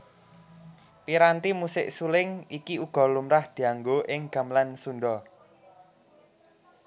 Piranti musik suling iki uga lumrah dianggo ing gamelan Sundha